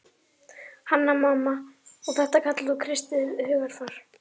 Hanna-Mamma: Og þetta kallar þú kristið hugarfar.